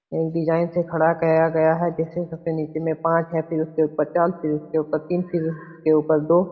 और डिजाईन से खड़ा किया गया है। जिसमे सबसे नीचे में पांच है और फिर उसके उपर चार फिर उसके उपर तीन फिर उसके उपर दो।